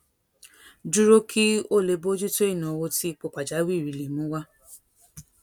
dúró kí ó lè bójú tó ìnáwó tí ipò pàjáwìrì lè mú wá